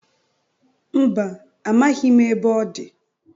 Mba, amaghị ebe ọ dị.